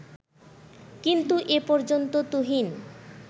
কিন্তু এ পর্যন্ত তুহিন